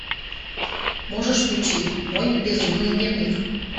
можешь включить мой безумный дневник